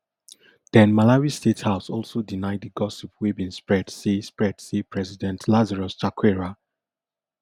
then malawi state house also deny di gossip wey bin spread say spread say president lazarus chakwera